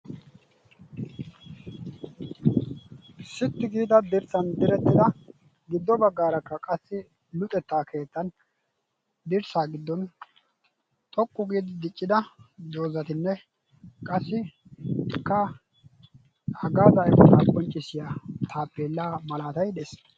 Sitti giida dirssan direttida giddo baggaarakka qassi luxettaa keettan dirssaa giddon xoqqu giidi diccida doozatinne qassikka hagazaa immota qonccissiyaa taapela malatay des.